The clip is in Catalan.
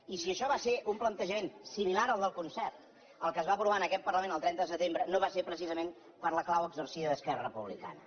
i si això va ser un plantejament similar al del concert el que es va aprovar en aquest parlament el trenta de setembre no va ser precisament per la clau exercida d’esquerra republicana